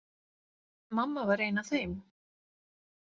Mamma var ein af þeim.